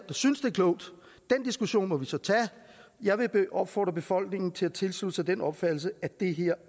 synes det er klogt den diskussion må vi så tage jeg vil opfordre befolkningen til at tilslutte sig den opfattelse at det her